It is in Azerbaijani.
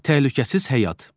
Təhlükəsiz həyat.